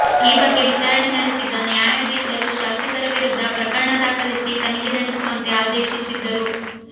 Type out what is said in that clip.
ಈ ಬಗ್ಗೆ ವಿಚಾರಣೆ ನಡೆಸಿದ್ದ ನ್ಯಾಯಾಧೀಶರು ಶಾಸಕರ ವಿರುದ್ಧ ಪ್ರಕರಣ ದಾಖಲಿಸಿ ತನಿಖೆ ನಡೆಸುವಂತೆ ಆದೇಶಿಸಿದ್ದರು